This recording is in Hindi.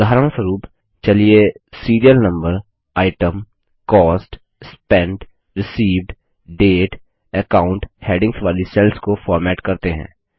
उदाहरणस्वरूप चलिए serial number item cost spent received date account headings वाली सेल्स को फॉर्मेट करते हैं